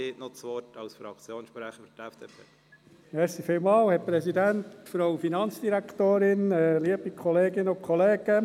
Als letzter Fraktionssprecher hat Grossrat Haas als Sprecher der FDP das Wort.